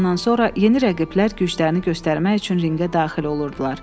Elandan sonra yeni rəqiblər güclərini göstərmək üçün ringə daxil olurdular.